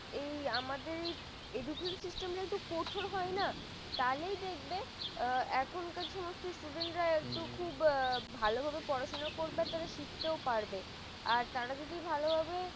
education system এই আমাদের এই একটু কঠোর হয় না তাহলে দেখবে এখনকার সমস্ত student রা একটু খুব ভালো হবে পড়াশোনা করবে শিখতেও পারবে আর তারা যদি ভালোভাবে